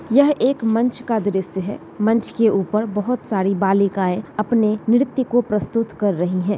यह एक मंच का दृश्य है मंच के ऊपर बहुत सारी बालिकाएं अपने नृत्य को प्रस्तुत कर रही हैं।